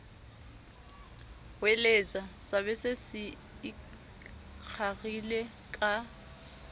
hweletsa sabese se ikgarile ka